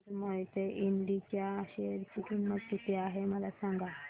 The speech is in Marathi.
आज मोहिते इंड च्या शेअर ची किंमत किती आहे मला सांगा